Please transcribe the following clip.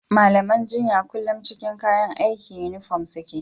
Malaman jinya kullum cikin kayan aiki (Yunifom) suke.